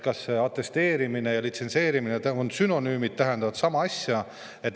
Kas atesteerimine ja litsentseerimine on siin sünonüümid, tähendavad sama asja?